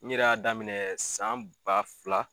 N ɲɛrɛ y'a daminɛ san ba fila